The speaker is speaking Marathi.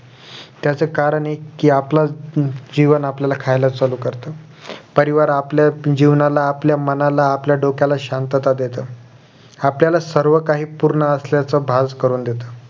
त्यांचं कारण एक कि आपलं जीवन आपल्याला खायला चालू करतं परिवार आपल्या जीवनाला आपल्या मनाला आपल्या डोक्याला शांतता देत आपल्या सर्व काही पूर्ण असल्याचं भास करून देत